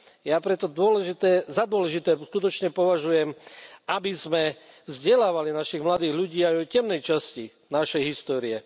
Ja preto za dôležité skutočne považujem, aby sme vzdelávali našich mladých ľudí aj v temnej časti našej histórie.